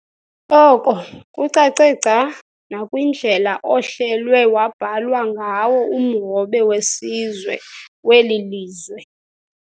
Oko kucace gca nakwindlela ohlelwe wabhalwa ngawo umhobe wesizwe weli lizwe.